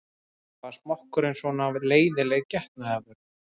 Var smokkurinn svona leiðinleg getnaðarvörn?